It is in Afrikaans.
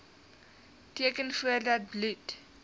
teken voordat bloed